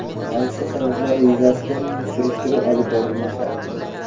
Hodisa sabablari yuzasidan surishtiruv olib borilmoqda.